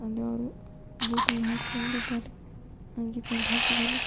ಬೂಟ ನ್ನು ಹಾಕೊಂಡಿದ್ದಾನೆ ಅಂಗಿ ಪ್ಯಾಂಟ್ ಹಾಕಿದಾನೆ.